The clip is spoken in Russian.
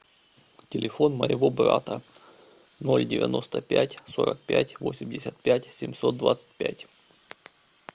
телефон моего брата ноль девяносто пять сорок пять восемьдесят пять семьсот двадцать пять